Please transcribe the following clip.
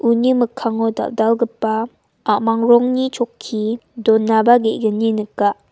uni mikkango dal·dalgipa a·mang rongni chokki donaba ge·gni nika.